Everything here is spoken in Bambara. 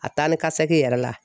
A taa ni ka segin yɛrɛ la